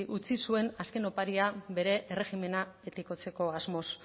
utzi zuen azken oparia bere erregimena etikotzeko asmoz